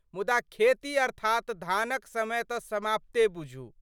मुदा खेती अर्थात धानक समय तऽ समाप्ते बुझू।